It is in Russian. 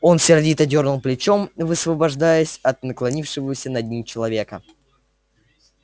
он сердито дёрнул плечом высвобождаясь от наклонившегося над ним человека